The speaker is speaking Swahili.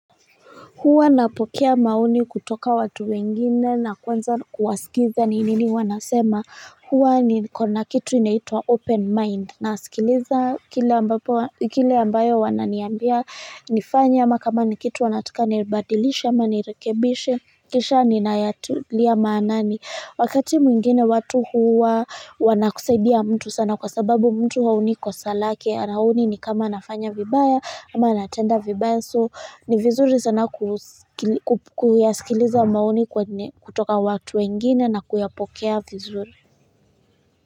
Huwa napokea maoni kutoka watu wengine na kuanza kuwasikiza ni nini wanasema huwa ni kona kitu inaitwa open mind na asikiliza kile ambayo wananiambia nifanye ama kama ni kitu wanataka nibadilishe ama nirekebishe kisha ninayatilia maanani. Wakati mwingine watu huwa wanakusaidia mtu sana kwa sababu mtu haoni kosa lake haoni ni kama anafanya vibaya ama anatenda vibaya so ni vizuri sana kuyasikiliza maoni kutoka watu wengine na kuyapokea vizuri.